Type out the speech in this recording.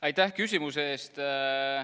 Aitäh küsimuse eest!